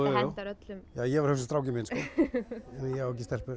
hentar öllum jú ég var að hugsa um strákinn minn sko ég á ekki stelpur